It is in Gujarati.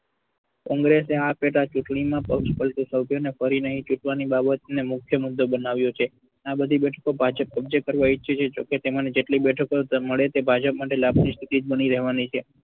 congress આ પેટા ચુંટણી માં ફરી નહિ ચૂંટવાની બાબતને મુખ્ય મુદ્દો બનાવ્યો છે આ બધી બેઠકો ભાજપ કબજો કરવા ઈચ્છે છે તેમાંની જેટલી બેઠકો મળે તે ભાજપ માટે લાભની સ્થિતિ જ બની રહેવાની છે.